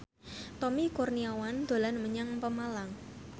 Tommy Kurniawan dolan menyang Pemalang